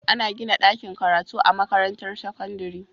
Ana gina dakin karatu a makarantar sakandari